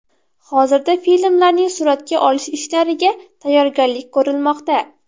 Hozirda filmlarning suratga olish ishlariga tayyorgarlik ko‘rilmoqda.